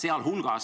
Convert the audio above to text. Aeg!